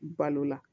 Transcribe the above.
Balo la